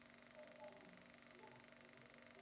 Hún sat úti í vornóttinni með karlmönnunum og söng hæst.